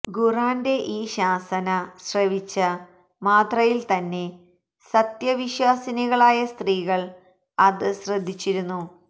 ഖുര്ആന്റെ ഈ ശാസന ശ്രവിച്ച മാത്രയില്തന്നെ സത്യവിശ്വാസിനികളായ സ്ത്രീകള് അത് ശ്രദ്ധിച്ചിരുന്നു